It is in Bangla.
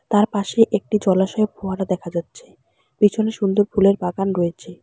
তার পাশে একটি জলাশয় ফোয়ারা দেখা যাচ্ছে পিছনে সুন্দর ফুলের বাগান রয়েছে।